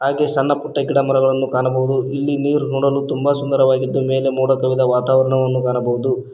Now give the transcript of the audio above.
ಹಾಗೆ ಸಣ್ಣ ಪುಟ್ಟ ಗಿಡಮರಗಳನ್ನು ಕಾಣಬಹುದು ಇಲ್ಲಿ ನೀರು ನೋಡಲು ತುಂಬಾ ಸುಂದರವಾಗಿದ್ದು ಮೇಲೆ ಮೋಡ ಕವಿದ ವಾತಾವರಣವನ್ನು ಕಾಣಬಹುದು.